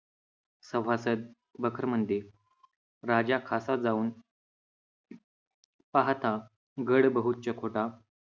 सभासद बखर म्हणते, राजा खासा जाऊन पाहता गड होता.